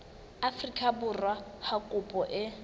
afrika borwa ha kopo e